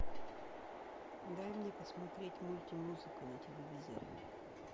дай мне посмотреть мультимузыка на телевизоре